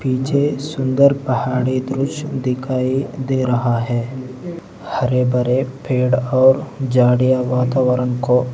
मुझे सुंदर पहाड़ी दृश्य दिखाई दे रहा है हरे भरे पेड़ और झाड़ियां वातावरण को--